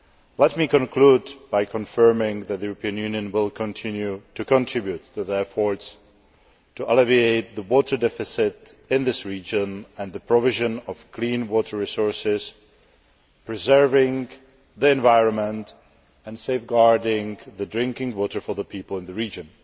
Let me conclude by confirming that the European Union will continue to contribute to the efforts to alleviate the water deficit in this region and to ensure the provision of clean water resources, preserving the environment and safeguarding drinking water for the people of the region.